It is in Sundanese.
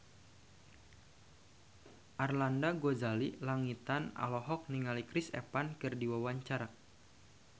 Arlanda Ghazali Langitan olohok ningali Chris Evans keur diwawancara